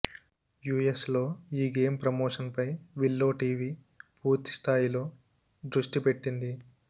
US లో ఈ game promotion పై విల్లో టీవీ పూర్తి స్థాయిలో దృష్టి పెట్టింది